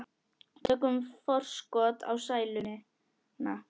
Tökum forskot á sæluna.